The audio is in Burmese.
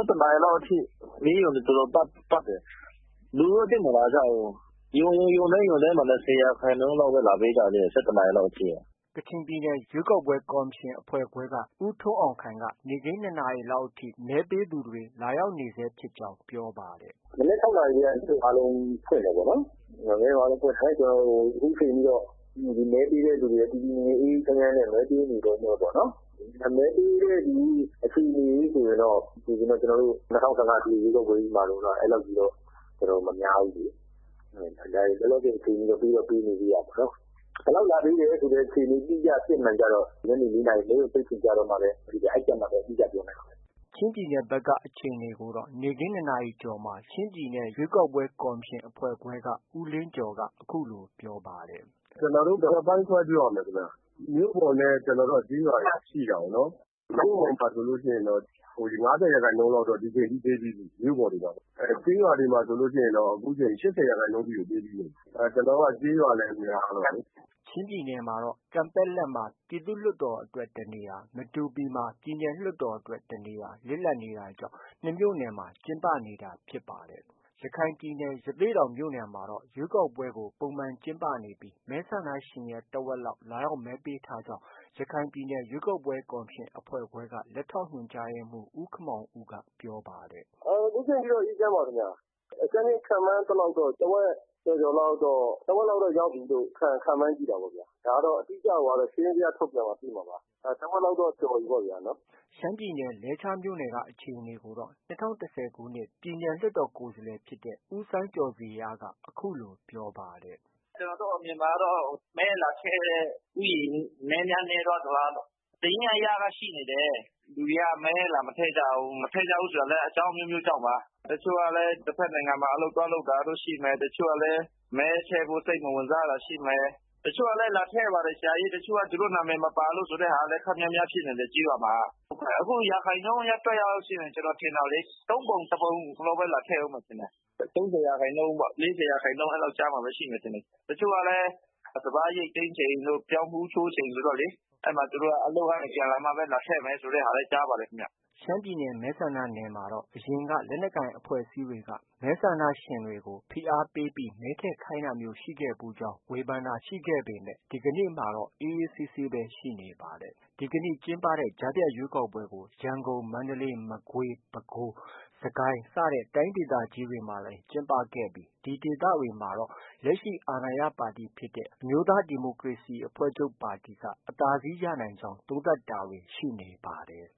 ၁ နာရီလောက်အထိ မဲရုံတွေ တော်တော်ပတ်တယ်။ လူတော့ သိပ်မလာဘူး။ ရုံတိုင်းရုံတိုင်းမှာ ၂၀ ရာခိုင်နှုန်းလောက်ပဲ လာပေးကြသေးတယ်။ ၁၁ နာရီလောက်က။” ကချင်ပြည်နယ် ရွေးကောက်ပွဲကော်မရှင်အဖွဲ့ခွဲက ဦးထွန်းအောင်ခိုင် နေ့ခင်း ၂ နာရီလောက် အထိ မဲပေးသူတွေ လာရောက်နေဆဲဖြစ်ကြောင်း အခုလို ပြောပါတယ်။ “မနက် ၆ နာရီထဲက မဲရုံအားလုံးဖွင့်တယ်။ အခုချိန်ထိတော့ မဲပေးတဲ့သူတွေက တည်တည်ငြိမ်ငြိမ် အေးအေး ချမ်းချမ်းနဲ့ မဲပေးနေတုံးပေါ့။ မဲပေးတဲ့ လူဦးရေ အခြေအနေဆိုရင်တော့ ၂၀၁၅ အထွေထွေ ရွေးကောက်ပွဲကြီး မှာလို့တော့ မများဘူးလေ။ လောလောဆယ် အခြေအနေထိ ပေးတော့ ပေးနေသေးတာပေါ့။ ဘယ်လောက်လာ ပေးတယ် ဆိုတဲ့အခြေအနေ အတိအကျ အစစ်အမှန်ကျတော့ ညနေ ၄ နာရီ မဲရုံပိတ်ချိန်ကျတော့မှပဲ အဲဒီကျမှပဲ အတိအကျပြောနိုင်မှာ ခင်ဗျ။” ချင်းပြည်နယ်ဖက်က အခြေအနေကိုတော့ နေ့ခင်း ၂ နာရီကျော်မှာ ရွေးကောက်ပွဲကော်မရှင် အဖွဲ့ခွဲက ဦးလင်းကျော်က အခုလို ပြောပါတယ်။ “ကျနော်တို့ ၂ ပိုင်းခွဲပြောရမယ်ခင်ဗျ။ မြို့ပေါ်နဲ့ ကျေးရွာတွေ ရှိတာကိုနော်။ မြို့ပေါ်မှာဆိုရင်တော့ ၅၀ ရာခိုင်နှုန်း လောက်တော့ ဒီအချိန်ထိ ပေးပြီးပြီ။ မြို့ပေါ်တွေမှာလေ။ ကျေးရွာတွေမှာတော့ အခုချိန် ၈၀ ရာခိုင်နှုန်းကျော် ပေးပြီးပြီ။ ကျနော်တို့က ကျေးရွာလည်း များတော့လေ။” ချင်းပြည်နယ်မှာတော့ ကန်ပက်လက်မှာ ပြည်သူ့လွှတ်တော်အတွက် တစ်နေရာနဲ့ မတူပီမှာ ပြည်နယ် လွှတ်တော်အတွက် တနေရာ လစ်လပ်နေတာကြောင့် နှစ်မြို့နယ်မှာ ကျင်းပနေတာဖြစ်ပါတယ်။ ရခိုင်ပြည်နယ် ရသေ့တောင်မြို့နယ်မှာတော့ ရွေးကောက်ပွဲကို ပုံမှန်ကျင်းပနေပြီး မဲဆန္ဒရှင်ရဲ့ တဝက်လောက် လာရောက်မဲပေးထားကြောင်း ရခိုင်ပြည်နယ် ရွေးကောက်ပွဲကော်မရှင်အဖွဲ့ခွဲက လက်ထောက်ညွှန်ကြားရေးမှူး ဦးခင်မောင်ဦးက ပြောပါတယ်။ “အခုချိန်ထိတော့ အေးအေးချမ်းချမ်းပါခင်ဗျ။ အကြမ်းဖျဉ်းခန့်မှန်းကြည့်သလောက်တော့ တဝက် ကျော်ကျော် လောက်တော့ ရောက်ပြီလို့ ခန့်မှန်းကြည့်တာပေါ့ဗျာ။ အတိအကျကိုကတော့ စာရင်းဇ ယား ထုတ်ပြန်မှ သိမှာပါ။ တဝက်လောက်တော့ ကျော်ပြီပေါ့ဗျာနော်။” ရှမ်းပြည်နယ် လဲချားမြို့နယ်က အခြေအနေကိုတော့ ၂၀၁၀ ခုနှစ် ပြည်နယ် လွှတ်တော်ကိုယ်စားလှယ် ဖြစ်တဲ့ ဦးစိုင်းကျော်ဇေယျက - “ကျနော့်အမြင်မှာတော့ မဲလာထည့်တဲ့ ဦးရေ နည်းများ နည်းသွားသလားလို့။ စာရင်းအရက ရှိနေ တယ်။ လူတွေက မဲလာမထည့်ကြဘူး။ မထည့်ကြဘူးဆိုတာလည်း အကြောင်း အမျိုးမျိုးကြောင့်ပါ။ တချို့က တဘက် နိုင်ငံမှာ အလုပ်သွားလုပ်တာတို့ ရှိမယ်။ တချို့ကလည်း မဲထည့်ဖို့ စိတ်မဝင်စား တာရှိမယ်။ တချို့ကလည်း လာ ထည့်ပါတယ်။ တချို့ကလည်း သူတို့နံမည်မပါလို့ဆို ခပ်များများ ဖြစ်နေတယ်။ ကျေးရွာတွေမှာက။ အခု ရာခိုင်နှုန်း အရ တွက်ရလို့ရှိရင် ကျနော်ထင်တာလေ သုံးပုံတစ်ပုံလောက်ပဲ လာထည့်မယ်ထင်တယ်။ ၃၀ ရာခိုင်နှုန်းပေါ့။ ၄၀ ရာခိုင်နှုန်း။ အဲလောက် ကြားမှာ ရှိမယ်ထင်တယ်။ တချို့ကလည်း စပါးရိတ်သိမ်းချိန်တို့၊ ပြောင်းဖူးချိုးချိန်တို့ ဆိုတော့ သူတို့ကလည်း အလုပ်ကနေ ပြန်လာမှ လာထည့်မယ်ဆိုတာလည်း ကြားပါတယ် ခင်ဗျ။ ” ရှမ်းပြည်နယ် မဲဆန္ဒနယ်မှာတော့ အရင်က လက်နက်ကိုင်အဖွဲ့အစည်းတွေက မဲဆန္ဒရှင်တွေကို ဖိအားပေးပြီး မဲထည့်ခိုင်းတာမျိုးတွေ ရှိခဲ့ဖူးကြောင်း ဝေဖန်တာတွေ ရှိပေမဲ့ ဒီကနေ့မှာတော့ အေးအေးဆေးဆေးပဲ ရှိနေပါတယ်။ ဒီကနေ့ကျင်းပတဲ့ ကြားဖြတ်ရွေးကောက်ပွဲကို ရန်ကုန်၊ မန္တလေး၊ မကွေး၊ပဲခူးနဲ့ စစ်ကိုင်းတိုင်းတွေမှာလည်း ကျင်းပခဲ့ပြီး ဒီဒေသတွေမှာတော့ လက်ရှိအာဏာရပါတီဖြစ်တဲ့ အမျိုးသားဒီမိုကရေစီအဖွဲ့ချုပ်က အသာစီးရ နိုင်ကြောင်း သုံးသပ်တာတွေ ရှိနေပါတယ်